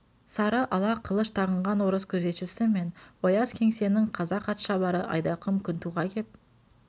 сары ала қылыш тағынған орыс күзетшісі мен ояз кеңсесінің қазақ атшабары айдақым күнтуға кеп